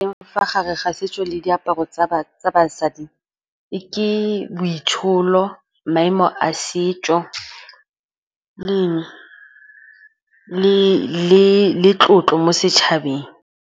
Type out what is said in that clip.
Fa gare ga setso le diaparo tsa basadi ke boitsholo, maemo a setso, le eng? Le tlotlo mo setšhabeng.